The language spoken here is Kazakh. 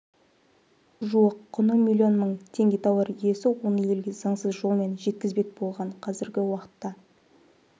жуық құны млн мың теңге тауар иесі оны елге заңсыз жолмен жеткізбек болған қазіргі уақытта